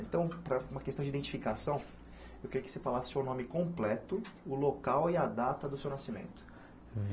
Então, para uma questão de identificação, eu queria que você falasse o seu nome completo, o local e a data do seu nascimento.